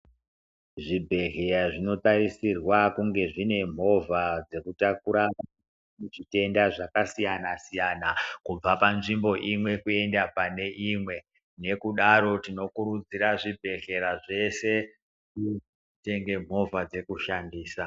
Zvibhedhlera zvinotarisirwa kunge zvine movha dzekutakura vantu vane zvitenda zvakasiyana-siyana kubva panzvimbo imwe kuenda pane imwe. Nekudaro tinokurudzira zvibhedhera zveshe zvitenge movha dzekushandisa.